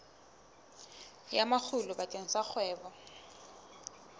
ya makgulo bakeng sa kgwebo